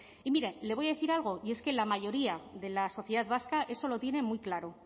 y mire le voy a decir algo y es que la mayoría de la sociedad vasca eso lo tiene muy claro